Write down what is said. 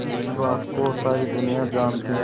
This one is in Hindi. जिस बात को सारी दुनिया जानती है